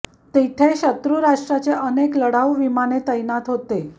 तिथे शत्रू राष्ट्राचे अनेक लढाऊ विमान तैनात होते